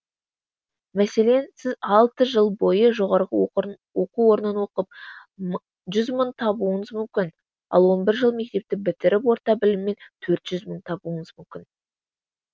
мәселен сіз алты жыл бойы жоғарғы оқу орнын оқып жүз мың табуыңыз мүмкін ал он бір жыл мектепті бітіріп орта біліммен төрт жүз мың табуыңыз мүмкін